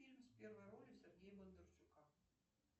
фильм с первой ролью сергея бондарчука